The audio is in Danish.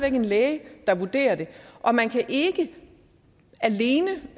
en læge der vurderer det og man kan ikke alene